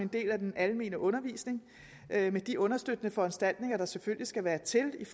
en del af den almene undervisning med de understøttende foranstaltninger der selvfølgelig skal være til